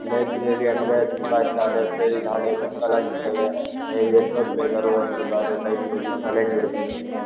Library ಅಂದ್ರೆ ತುಂಬಾ ಇಷ್ಟ. ಲೈಬ್ರೆರಿ ಇದ್ರೆ ಹಳೆ ಬುಕ್ ಎಲ್ಲ ಇರತಾವೇ ನೀವು ಎಸ್ಟೋತ್ ಬೇಕಾರೂ ಓದ್ಬಹುದು. ಆದ್ರೆ ಲೈಬ್ರೆರಿ ಸೈಲೆಂಟ್ ಇರ್ಬೆಕ್ ಆಗತ್ತೆ.